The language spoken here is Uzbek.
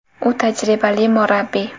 U tajribali murabbiy.